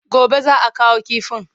Gobe za a kawo kifin.